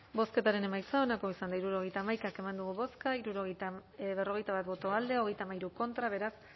bozketaren emaitza onako izan da hirurogeita hamaika eman dugu bozka berrogeita bat boto alde treinta y tres contra beraz